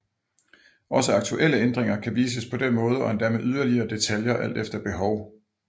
Også aktuelle ændringer kan vises på den måde og endda med yderligere detaljer alt efter behov